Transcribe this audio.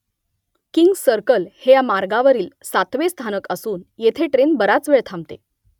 kings Circle हे या मार्गावरील सातवे स्थानक असून येथे ट्रेन बराच वेळ थांबते